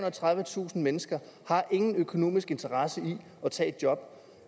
og tredivetusind mennesker ingen økonomisk interesse har i at tage et job